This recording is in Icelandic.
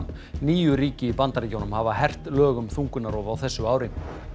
níu ríki í Bandaríkjunum hafa hert lög um þungunarrof á þessu ári